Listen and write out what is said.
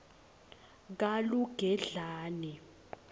kalugedlane